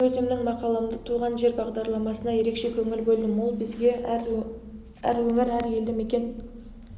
мен өзімнің мақаламда туған жер бағдарламасына ерекше көңіл бөлдім ол бізге әр өңір әр елді мекен